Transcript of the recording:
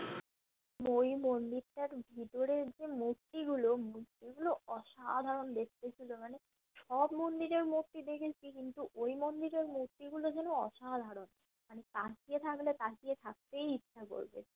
ওই মন্দিরটার ভিতরে যেই মূর্তি গুলো মূর্তি গুলো অসাধারণ দেখতে ছিল মানে সব মন্দিরের মূর্তি দেখেছি কিন্তু ওই মন্দিরের মূর্তি গুলো যেন অসাধারণ মানে তাকিয়ে থাকলে তাকিয়ে থাকতেই ইচ্ছে করবে